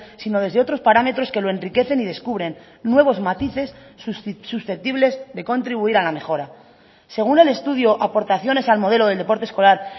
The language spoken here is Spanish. sino desde otros parámetros que lo enriquecen y descubren nuevos matices susceptibles de contribuir a la mejora según el estudio aportaciones al modelo del deporte escolar